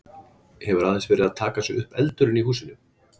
Hefur aðeins verið að taka sig upp eldurinn í húsinu?